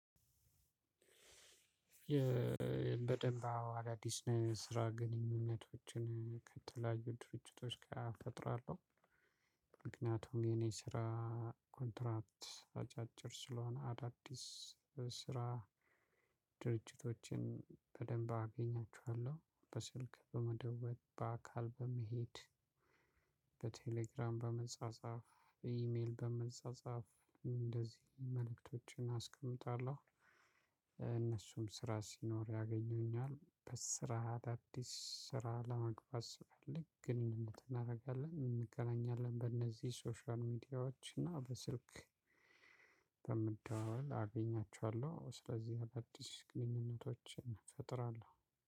በደንብ አዎ አዳዲስ የስራ ግንኙነቶችን ከተለያዩ ድርጅቶች ጋር ፈጥራለው። ምክንያቱም የኔ ስራ ኮንትራት አጫጭር ስለሆነ አዳዲስ ስራ ድርጅቶችን በደንብ አገኛችኋለሁ በስልክ በመደወል በአካል በመሄድ። በቴሌግራም በመጻጻፍ በእሜል በመጻጻፍ እንደዚሁም መልእክቶችን አስቀምጣለው። ስራ ሲኖር ያገኘኛል በስራአት አዳዲስ ስራ ለመግባት ስፈልግ ግኑኙነት እናረጋለን እንገናኛለን በነዚህ ሶሻል ሚዲያዎች እና በስልክ። በመደዋወል አገኛቸዋለው ስለዚህ አዳዲስ ግኑኝነቶችን እፈጥራለው።